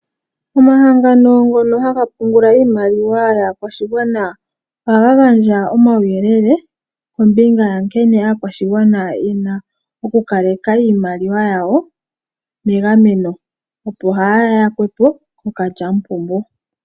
Omahangano ngono haga pungula iimaliwa yaakwashigwana ohaga gandja omauyelele kombinga yankene aakwashigwana ye na okukaleka iimaliwa yawo megameno opo kaaya kwatwe kookalyamupombo.